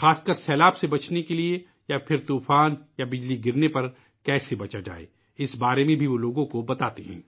خاص طور پر سیلاب سے بچنے کے لئے یا طوفان یا آسمانی بجلی کی صورت میں کیسے بچا جائے ، اس کے بارے میں بھی وہ لوگوں کو بتاتے ہے